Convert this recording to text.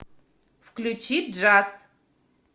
включи джаз